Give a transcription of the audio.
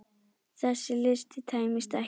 Þessi listi tæmist ekki.